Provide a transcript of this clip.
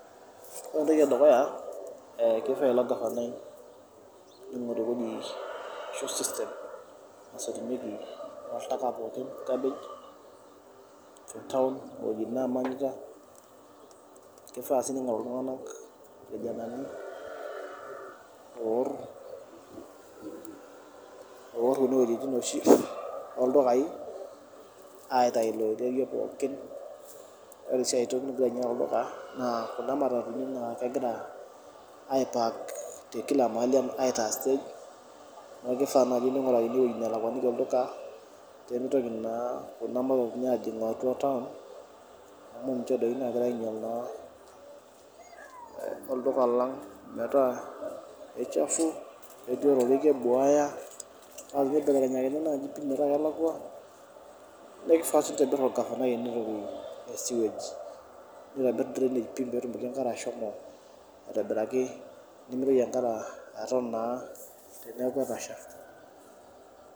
ore entoki ee dukuya keifaa ilo gafanai eweji ashuu system nasotunyieki oltaka pookin le kabej tee town weei naamanyita keifaa sii neng'oru iltung'anak ilkijanani oorr kune wejitin oshi oo ildukayii aitayu ilo oiterio pookin oree sii aitoki oree duo teniyata olduka naa kunda maratuni naa kegira ai park tee pooki wei atitaa stage nekuu keifa nayii neng'urakini ewei nalakuaniki olduka pemeitoki naa nena mararuni ajing' atua town amu ninche doi naagira ainyal olduka lang' metaa keichafu ketii orerei kebuaya naa teneibelekenyakini nayii pii metaa kelakua naa keifa sinye peitobirr orgavanai ine wei ee sewage neitobirr drainage peetumoki enkare ashomo aitobiraki nemeitoki enkare aton naa teneaku etasha.